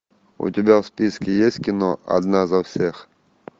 у тебя в списке есть кино одна за всех